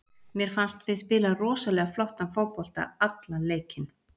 Mér fannst við spila rosalega flottan fótbolta allan leikinn.